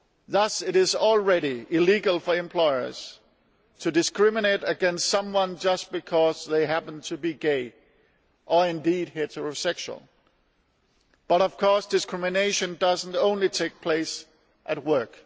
Thus it is already illegal for employers to discriminate against someone just because they happen to be gay or indeed heterosexual but of course discrimination does not take place only at work.